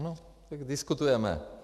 Ano, tak diskutujeme.